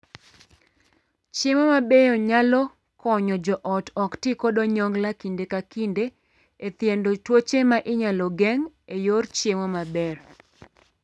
Chiemo mabeyo nayalo konyo joot ok tii kod onyongla kinde ka kinde e thiedho tuoche ma inyal geng' e yor chiemo maber.